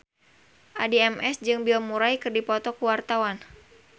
Addie MS jeung Bill Murray keur dipoto ku wartawan